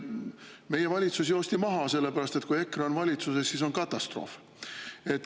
Meie valitsus joosti maha, sellepärast et kui EKRE on valitsuses, siis on katastroof.